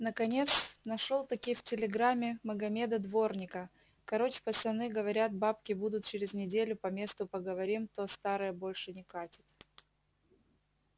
наконец нашел-таки в телеграме магомеда-дворника короч пацаны говорят бабки будут через неделю по месту поговорим то старое больше не катит